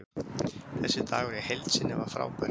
Þessi dagur í heild sinni var frábær.